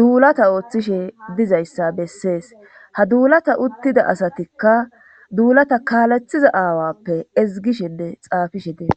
duulata ooththishe dizayssa bessees ha duulata uttida asatikka duulata kaalethiza aawappe izgishinne xaafishe tee.